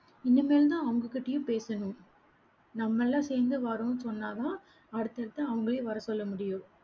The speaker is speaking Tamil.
இனிமேல்தான், அவங்ககிட்டயும் பேசணும் நம்ம எல்லாம் சேர்ந்து வரோம்ன்னு சொன்னாதான், அடுத்தடுத்து அவங்களையும் வரச்சொல்ல முடியும்.